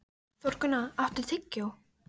Asael, slökktu á niðurteljaranum.